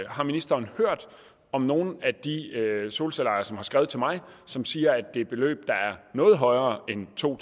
har ministeren hørt om nogle af de solcelleejere som har skrevet til mig og som siger at det beløb da er noget højere end to